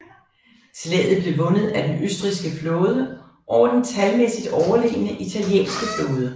Slaget blev vundet af den østrigske flåde over den talmæssigt overlegne italienske flåde